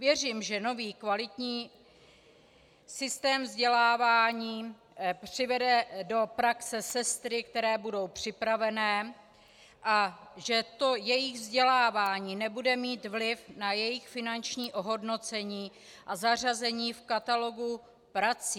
Věřím, že nový kvalitní systém vzdělávání přivede do praxe sestry, které budou připravené, a že to jejich vzdělávání nebude mít vliv na jejich finanční ohodnocení a zařazení v katalogu prací.